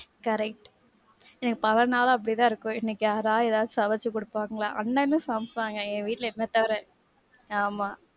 correct. எனக்கு பல நாளும் அப்படி தான் இருக்கும். எனக்கு யாராவது ஏதாவது சமச்சி குடுப்பாங்களா, அண்ணனும் சமைப்பாங்க, எங்க வீட்ல என்ன தவிர. ஆமா.